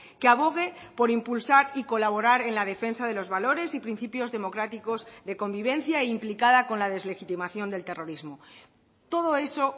que abogue por impulsar y colaborar en la defensa de los valores y principios democráticos de convivencia e implicada con la deslegitimación del terrorismo todo eso